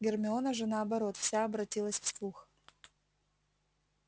гермиона же наоборот вся обратилась в слух